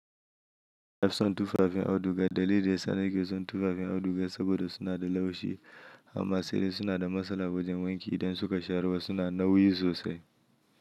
Na fi son tufafin auduga. Dalili yasa nake son tufafin auduga saboda suna da laushi, amma sai dai suna da matsala wajen wanki idan suka sharuwa suna nauyi sosai.